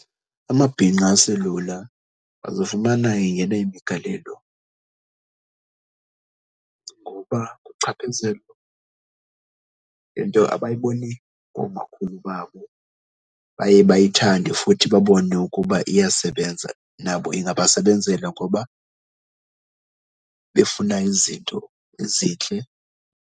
Amabhinqa aselula azifumana engene imigalelo ngoba into abayibone koomakhulu babo, baye bayithande futhi babone ukuba iyasebenza. Nabo ingabasebenzela ngoba befuna izinto ezintle.